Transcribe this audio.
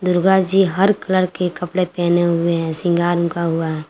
दुर्गा जी हर कलर के कपड़े पहने हुए हैं सिंगार उनका हुआ है।